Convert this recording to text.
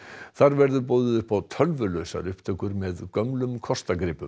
þar verður boðið upp á tölvulausar upptökur með gömlum